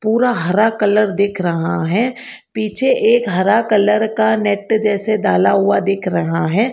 पूरा हरा कलर दिख रहा है पीछे एक हरा कलर का नेट जैसे डाला हुआ दिख रहा है।